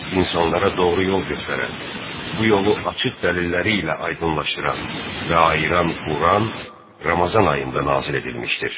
İnsanlara doğru yol göstərən, bu yolu açıq dəlilləri ilə aydınlaşdıran və ayıran Quran Ramazan ayında nazil edilmişdir.